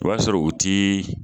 O ya sɔrɔ u tii